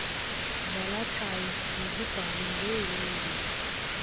zalathayo mazibhalwe ngeelwimi